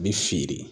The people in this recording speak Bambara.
Bi firi